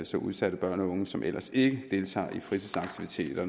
så udsatte børn og unge som ellers ikke deltager i fritidsaktiviteter